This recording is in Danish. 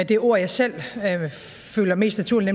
det ord jeg selv føler mest naturligt